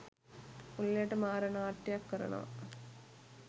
උළෙලට 'මාර' නාට්‍යයක් කරනවා.